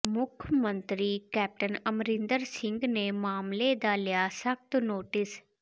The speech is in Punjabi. ਮੁੱਖ ਮੰਤਰੀ ਕੈਪਟਨ ਅਮਰਿੰਦਰ ਸਿੰਘ ਨੇ ਮਾਮਲੇ ਦਾ ਲਿਆ ਸਖਤ ਨੋਟਿਸ